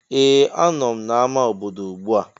Ee! Anọ m n'amá obodo ugbu a.